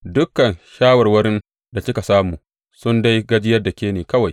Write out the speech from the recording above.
Dukan shawarwarin da kika samu sun dai gajiyar da ke ne kawai!